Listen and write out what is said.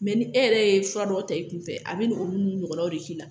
ni e yɛrɛ ye fura dɔw ta i kunfɛ a bi na olu nɔgɔlaw de k'i la